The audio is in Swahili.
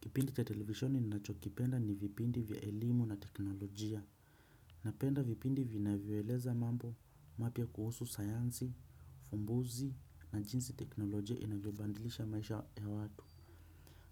Kipindi cha televishoni ninachokipenda ni vipindi vya elimu na teknolojia. Napenda vipindi vinavyoeleza mambo mapya kuhusu sayansi, ufumbuzi na jinsi teknolojia inavyebandilisha maisha ya watu.